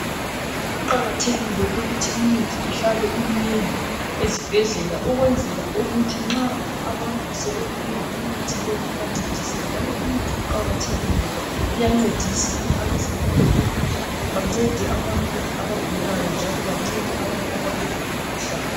Kuqakathekile ukuthi imithi ihlale iminengi ezibhendlela ukwezela ukuthi nxa abantu sebeyidinga imithi leyi ibancedise njalo imithi iqakathekile ngoba iyancedisa abazempilo ukuthi bancede abagulayo njalo bancede abantu abaphethwe yimkhuhlane.